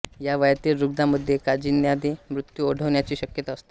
या वयातील रुग्णामध्ये कांजिण्याने मृत्यू ओढवण्याची शक्यता असते